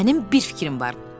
Mənim bir fikrim var.